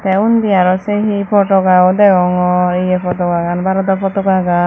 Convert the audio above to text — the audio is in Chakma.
tey undi aaro se he potokayo deyongor ye potakagan bharado potokagan.